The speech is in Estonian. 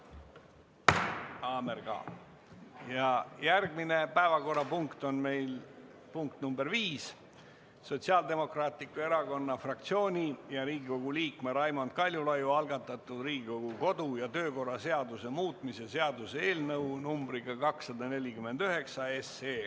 Järgmine päevakorrapunkt on meil nr 5, Sotsiaaldemokraatliku Erakonna fraktsiooni ja Riigikogu liikme Raimond Kaljulaiu algatatud Riigikogu kodu- ja töökorra seaduse muutmise seaduse eelnõu 249.